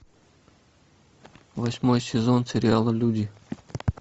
восьмой сезон сериала люди